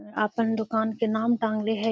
अपन दोकान के नाम टांगले हेय।